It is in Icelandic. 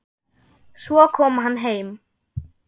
Svo kom hann heim.